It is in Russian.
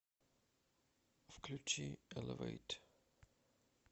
включи элевэйт